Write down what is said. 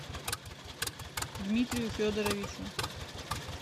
дмитрию федоровичу